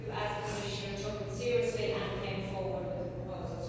You, as Commissioner, took it seriously and came forward with a proposal.